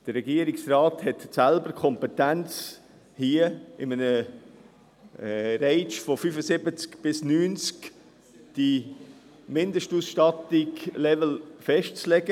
Der Regierungsrat hat selbst die Kompetenz, hier in einem Rang von 75–90 den Mindestausstattungslevel festzulegen.